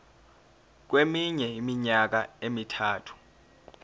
kweminye iminyaka emithathu